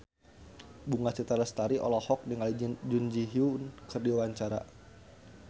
Bunga Citra Lestari olohok ningali Jun Ji Hyun keur diwawancara